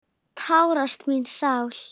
Tárast mín sál.